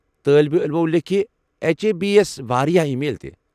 طٲلب علمو لیكھہِ اٮ۪چ اے بی ہس واریاہ ای میل تہِ۔